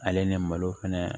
Ale ni malo fɛnɛ